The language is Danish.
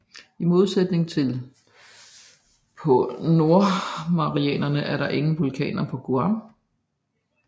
I modsætning til på Nordmarianerne er der ingen vulkaner på Guam